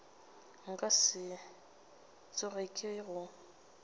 nka se tsoge ke go